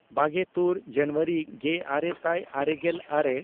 ᱵᱟᱜᱮᱼᱛᱩᱨ ᱡᱟᱱᱩᱣᱟᱨᱤ ᱜᱮᱼᱟᱨᱮ ᱥᱟᱭ ᱟᱨᱮᱜᱮᱞ ᱟᱨᱮ